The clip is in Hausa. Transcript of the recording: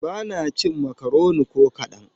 Ba na cin makaroni ko kaɗan.